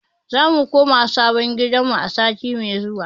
Za mu koma sabon gidanmu a sati mai zuwa.